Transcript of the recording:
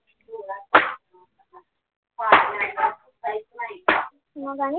मग आणि